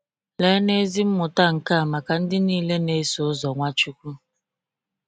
Leenụ ezi mmụta nke a maka ndị niile na-eso ụzọ Nwachukwu!